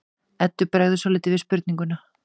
Eddu bregður svolítið við spurninguna.